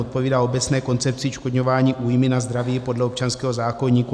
Odpovídá obecné koncepci odškodňování újmy na zdraví podle občanského zákoníku.